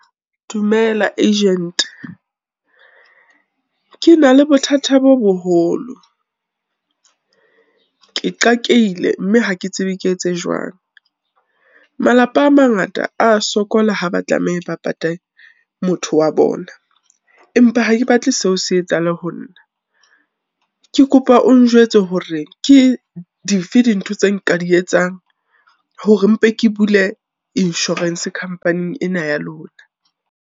Dumela agent. Ke na le bothata bo boholo ke qakehile mme hake tsebe ke etse jwang. Malapa a mangata a sokola ha ba tlameha ba pate motho wa bona, empa ha ke batle seo se etsahale ho nna. Ke kopa o njwetse hore ke dife dintho tse nka di etsang hore mpe ke bule insurance company-eng ena ya lona.